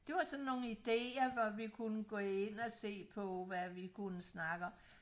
Det var sådan nogle ideer hvor vi kunne gå ind og se på hvad vi kunne snakke om